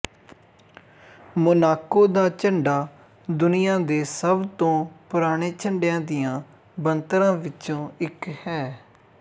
Monaco ਦਾ ਝੰਡਾ ਦੁਨੀਆਂ ਦੇ ਸਭ ਤੋਂ ਪੁਰਾਣੇ ਝੰਡਿਆਂ ਦੀਆਂ ਬਣਤਰਾਂ ਚੋਂ ਇੱਕ ਹੈ